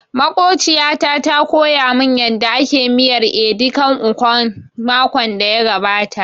Makwabciya ta koya mun yanda ake miyar edi kan ikong makon da ya gabata